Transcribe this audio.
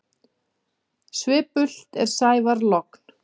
Svipult er sævar logn.